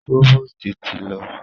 Próvòstì ti lọ.